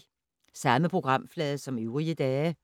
Samme programflade som øvrige dage